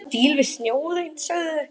Þeir eru í stíl við snjóinn, sögðu þau.